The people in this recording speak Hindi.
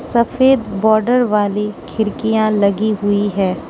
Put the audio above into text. सफेद बॉर्डर वाली खिड़कियां लगी हुई है।